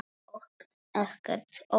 Og ekkert óvænt.